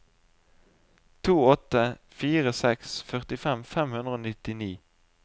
to åtte fire seks førtifem fem hundre og nittini